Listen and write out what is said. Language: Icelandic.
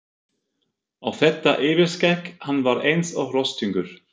Og þetta yfirskegg, hann var eins og rostungur.